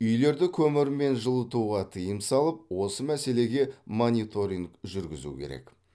үйлерді көмірмен жылытуға тыйым салып осы мәселеге мониторинг жүргізу керек